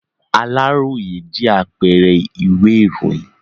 Aláròyé jẹ́ apẹẹrẹ ìwé ìròyìn.